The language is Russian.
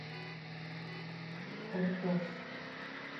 ордос